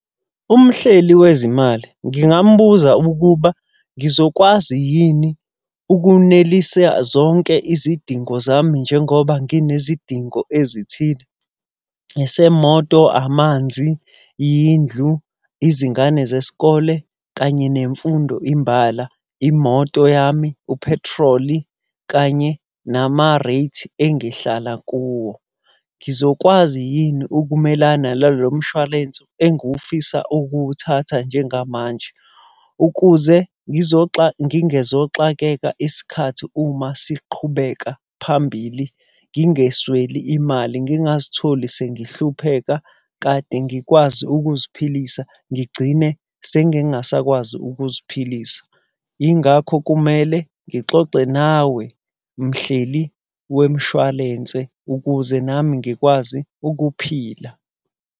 Umhleli wezimali, ngingamubuza ukuba ngizokwazi yini ukunelisa zonke izidingo zami njengoba nginezidingo ezithile? Esemoto, amanzi, yindlu, izingane zesikole kanye nemfundo imbala. Imoto yami, uphethroli, kanye nama-rates engihlala kuwo. Ngizokwazi yini ukumelana nalo mshwarensi engufisa ukuwuthatha njengamanje? Ukuze ngingezoxakeka isikhathi uma siqhubeka phambili, ngingesweli mali, ngingazitholi sengihlupheka kade ngikwazi ukuziphilisa, ngigcine sengingasakwazi ukuziphilisa. Yingakho kumele ngixoxe nawe mhleli wemshwalense ukuze nami ngikwazi ukuphila.